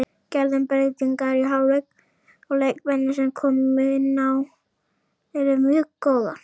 Gerðum breytingar í hálfleik og leikmennirnir sem komu inn á eru mjög góðar.